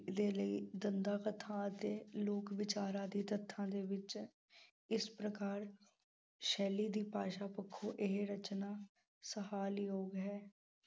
ਦੇ ਲਈ ਦੰਦ ਕਥਾ ਅਤੇ ਲੋਕ ਵਿਚਾਰਾਂ ਦੀ ਤੱਥਾਂ ਦੇ ਵਿੱਚ ਇਸ ਪ੍ਰਕਾਰ ਸ਼ੈਲੀ ਦੀ ਭਾਸ਼ਾ ਪੱਖੋਂ ਇਹ ਰਚਨਾ ਸ਼ਲਾਘਾਯੋਗ ਹੈ